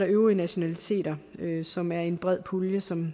øvrige nationaliteter som er en bred pulje som